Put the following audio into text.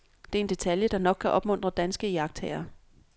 Det er en detalje, der nok kan opmuntre danske iagttagere.